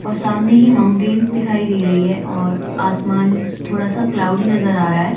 और सामने ही माउंटेंस दिखाई दे रही है और आसमान थोड़ा सा क्लाउडी नजर आ रहा है।